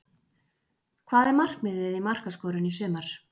Hvað er markmiðið í markaskorun í sumar?